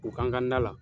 U kan ka na la